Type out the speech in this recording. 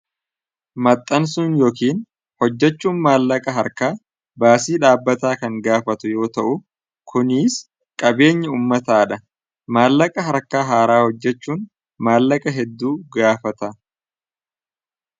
maxxansuun yookiin hojjachuun maallaqa harkaa baasii dhaabbataa kan gaafatu yoo ta'u kunis qabeenyi ummataa dha maallaqa harka haaraa hojjachuun maallaqa hedduu gaafata.